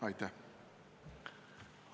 Aitäh!